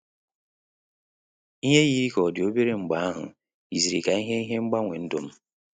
Ihe yiri ka ọ dị obere mgbeahu yiziri ka ihe ihe mgbanwe ndum